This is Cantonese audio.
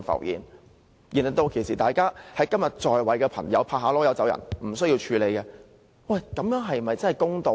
然而，今天在位的朋友可以拍拍屁股一走了之，無須處理，這樣是否公道？